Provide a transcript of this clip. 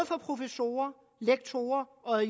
professorer lektorer og